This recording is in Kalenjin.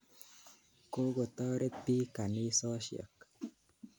Kokotoret piik kanisosyek.